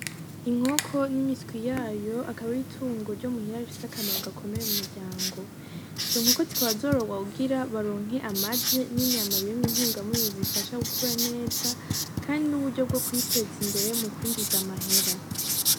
Inkoko n'imiswi yayo akaba ari itungo ryo muhira rifise akamaro gakomeye mumuryango. Izo nkoko zikaba zororwa kugira ngo baronke amagi hamwe n'inyama birimwo intungamubiri zifasha gukura neza, kandi ni uburyo bwo kwiteza imbere mukwinjiza amahera.